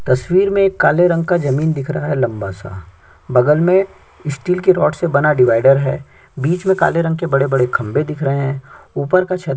तस्वीर में एक काले रंग का जमीन दिख रहा है लम्बा-सा बगल में स्टील के रोड से बना डिवीडर है बीचे में काले रंग के बड़े-बड़े खम्भे दिख रहे है ऊपर का छत भी--